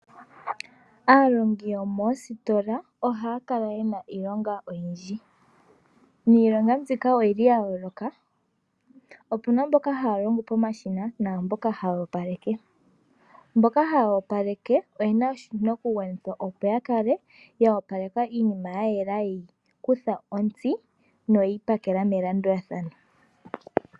Aalongi yomoositola ohaya kala ye na iilonga oyindji niilonga mbika oya yooloka. Opu na mboka haya longo pomashina naa mboka haya opaleke. Mboka haya opaleke oye na oshinakugwanithwa sho ku opaleka iinima, opo yi kale ye yi kutha ontsi noye yi pakela melandulathano.